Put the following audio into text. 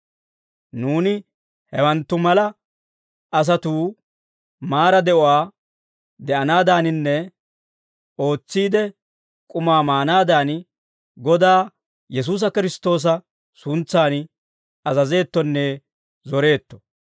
Nuuni hewanttu mala asatuu maara de'uwaa de'anaadaaninne ootsiide k'umaa maanaadan, Godaa Yesuusi Kiristtoosa suntsan azazeettonne zoreetto.